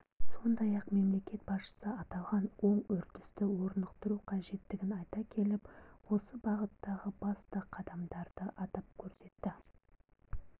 сондай-ақ мемлекет басшысы аталған оң үрдісті орнықтыру қажеттігін айта келіп осы бағыттағы басты қадамдарды атап көрсетті